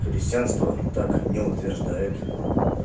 христианство так не утверждает